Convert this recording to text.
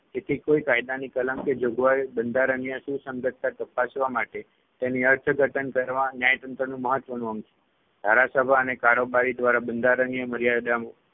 તેથી કોઈ કાયદાની કલમ કે જોગવાઈ બંધારણીય સુસંગતતા તપાસવા માટે તેની અર્થઘટન કરવા ન્યાયતંત્રનું મહત્વનું અંગ છે. ધારાસભા અને કારોબારી દ્વારા બંધારણીય મર્યાદામાં